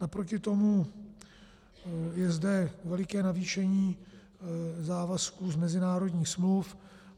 Naproti tomu je zde veliké navýšení závazků z mezinárodních smluv.